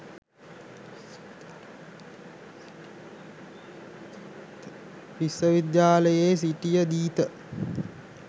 විශ්ව විද්‍යාලයේ සිටියදීත